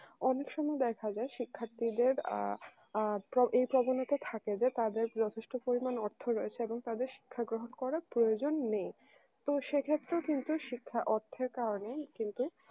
অনেক সময় দেখা যায় শিক্ষার্থীদের আ আ এই problem এতে থাকে যে তাদের যথেষ্ট পরিমাণ অর্থ রয়েছে এবং তাদের শিক্ষা গ্রহণ করার প্রয়োজন নেই তু সে ক্ষেত্রেও কিন্তু অর্থের কারণে ই কিন্তু